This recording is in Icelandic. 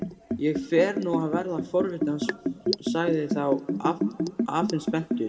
Ég fer nú að verða forvitinn sagði þá afinn spenntur.